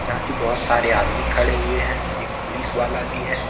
बहोत सारे आदमी खड़े हुए हैं एक पुलिस वाला भी है।